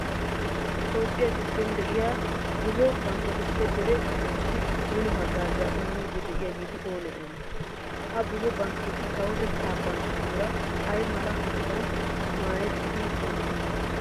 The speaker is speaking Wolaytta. Toophphiya giddon de'iya buzo bankketuppe dere asaassi mino haggaazaa immiiddi de'iyageeti oonee oonee? Ha buzo bankketi kawotettaa bankketuura ay mala hanotan maayettidi oottiyonaa?